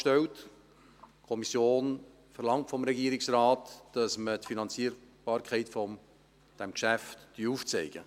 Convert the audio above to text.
Die Kommission verlangt vom Regierungsrat, dass wir die Finanzierbarkeit dieses Geschäfts aufzeigen.